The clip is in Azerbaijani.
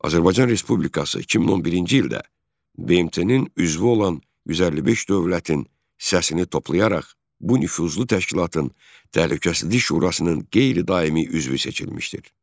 Azərbaycan Respublikası 2011-ci ildə BMT-nin üzvü olan 155 dövlətin səsini toplayaraq bu nüfuzlu təşkilatın Təhlükəsizlik Şurasının qeyri-daimi üzvü seçilmişdir.